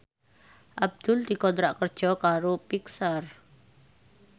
Abdul dikontrak kerja karo Pixar